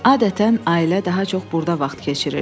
Adətən ailə daha çox burda vaxt keçirirdi.